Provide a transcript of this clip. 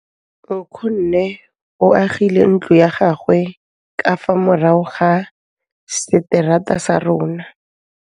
Nkgonne o agile ntlo ya gagwe ka fa morago ga seterata sa rona.